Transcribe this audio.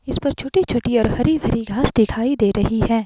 इस पे छोटी छोटी हरी भरी घास दिखाई दे रही है।